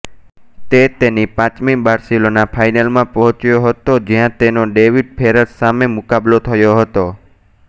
તે તેની પાંચમી બાર્સિલોના ફાઇનલમાં પહોંચ્યો હતો જ્યાં તેનો ડેવિડ ફેરર સામે મુકાબલો થયો હતો